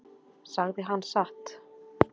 Sagði hann satt?